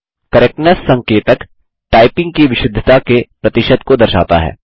correctness संकेतक typing की विशुद्धता के प्रतिशत को दर्शाता है